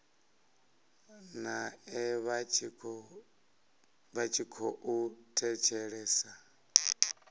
nae vha tshi khou thetshelesa